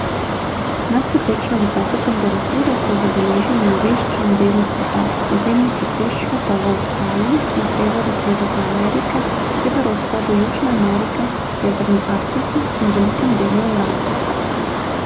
Nadpovprečno visoke temperature so zabeležili v večjem delu sveta, izjemne presežke pa v Avstraliji, na severu Severne Amerike, severovzhodu Južne Amerike, v Severni Afriki in velikem delu Evrazije.